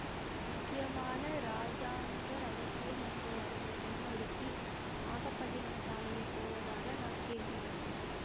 முக்கியமான இராஜாங்க இரகசியம் ஒன்றை அறிந்த பெண் ஒருத்தி நாகப்பட்டினம் சாலையில் போவதாக நான் கேள்விப்பட்டேன்